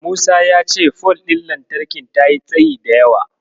Musa ya ce fol ɗin lantarkin tayi tsayi da yawa.